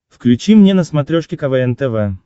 включи мне на смотрешке квн тв